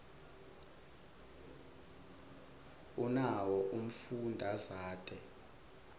unawo umfundazate